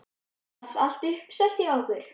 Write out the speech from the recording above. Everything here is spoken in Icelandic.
Er annars allt uppselt hjá ykkur?